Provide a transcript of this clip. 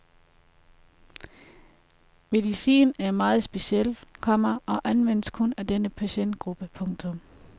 Medicinen er meget speciel, komma og anvendes kun af denne patientgruppe. punktum